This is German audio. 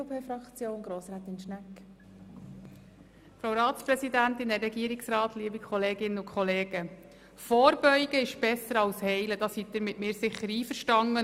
Vorbeugen ist besser als Heilen, darin gehen Sie sicher mit mir einig.